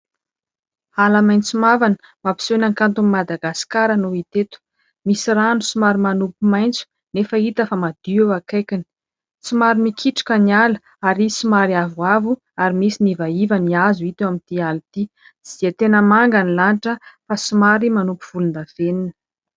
Ala maitso mavana, mampiseho ny hakanton'i Madagasikara no hita eto. Misy rano somaroy manopy maitso nefa hita fa madio eo akaikiny. Somary mikitroka ny ala ary somary avoavo ary misy ny ivaiva ny hazo hita eo amin'ity sary ity. Tsy dia tena manga ny lanitra fa somary manopy volondavenona.